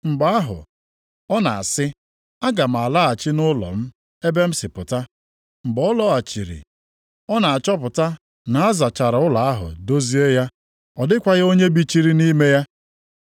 Mgbe ahụ, ọ na-asị, ‘Aga m alaghachi nʼụlọ m, ebe m si pụta.’ Mgbe ọ lọghachiri, ọ na-achọpụta na a zachara ụlọ ahụ dozie ya, ọ dịkwaghị onye bichiri nʼime ya.